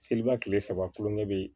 Seliba kile saba kulonkɛ bɛ yen